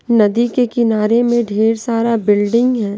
नदी के किनारे में ढेर सारा बिल्डिंग है।